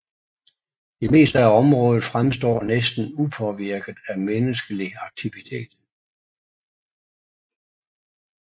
Det meste af området fremstår næsten upåvirket af menneskelig aktivitet